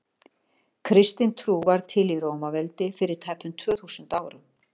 kristin trú varð til í rómaveldi fyrir tæpum tvö þúsund árum